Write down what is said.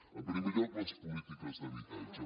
en primer lloc les polítiques d’habitatge